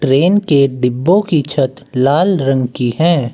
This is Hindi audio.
ट्रेन के डिब्बो की छत लाल रंग की है।